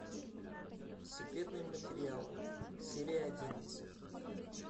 секретные материалы серия одиннадцать